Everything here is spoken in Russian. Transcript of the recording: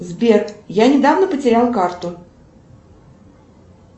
сбер я недавно потеряла карту